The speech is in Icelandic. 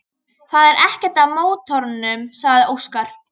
Það er ekkert að mótornum, sagði Óskar.